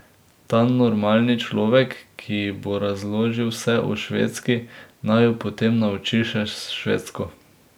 Ta normalni človek, ki ji bo razložil vse o Švedski, naj jo potem nauči še švedsko.